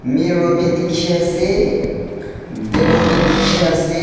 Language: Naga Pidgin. mirror bi dikhiase table bi dikhiase.